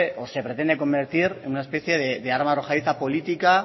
o se pretende convertir en una especie de arma arrojadiza política